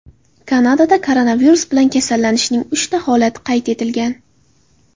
Kanadada koronavirus bilan kasallanishning uchta holati qayd etilgan.